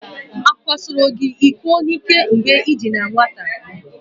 Akwasoro gị iko n'ike mgbe ị dị na nwata?